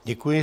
Děkuji.